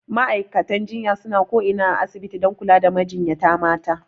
Ma'aikatan jinya suna ko ina a asibiti dan kula da majinyata mata